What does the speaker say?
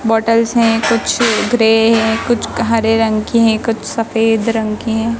बोटलस हैं कुछ ग्रे हैं कुछ हरे रंग के हैं कुछ सफेद रंग के हैं।